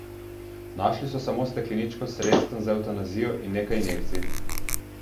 Našli so samo stekleničko s sredstvom za evtanazijo in nekaj injekcij.